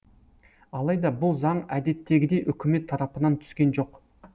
алайда бұл заң әдеттегідей үкімет тарапынан түскен жоқ